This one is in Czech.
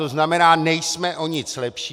To znamená, nejsme o nic lepší.